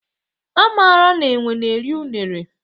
A marala enwe na-eri unere.